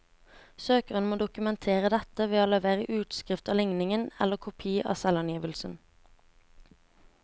Søkeren må dokumentere dette ved å levere utskrift av likningen eller kopi av selvangivelsen.